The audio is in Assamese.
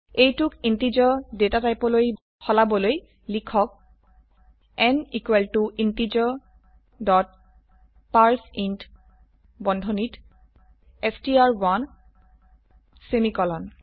এইটোক ইন্টিজাৰ ডেটাটাইপলৈ বদলাবলৈ লিখক n equal to integer dot parse int বন্ধনীত ষ্ট্ৰ1 সেমিকোলন